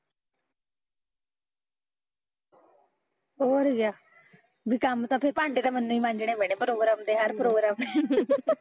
ਹੋਰ ਕਿਆ ਵੀ ਕੰਮ ਤਾਂ ਫਿਰ ਵੀ ਭਾਂਡੇ ਤਾਂ ਮੈਨੂੰ ਈ ਮਝਣੇ ਪੈਣੇ ਹਰ ਪ੍ਰੋਗਰਾਮ ਤੇ